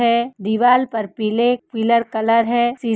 है दीवाल पर पीले पीलर कलर है शी --